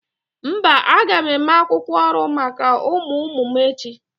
Mba, aga m eme akwukwo ọrụ maka ụmụ ụmụ m echi